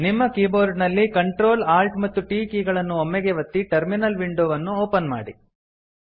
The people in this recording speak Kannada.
ನಿಮ್ಮ ಕೀಬೋರ್ಡ ನಲ್ಲಿ Ctrl Alt ಮತ್ತು T ಕೀ ಗಳನ್ನು ಒಮ್ಮೆಗೇ ಒತ್ತಿ ಟರ್ಮಿನಲ್ ವಿಂಡೊ ಅನ್ನು ಓಪನ್ ಮಾಡಿ